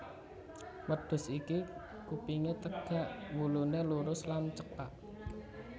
Wêdhus iki kupingé têgak wuluné lurus lan cêkak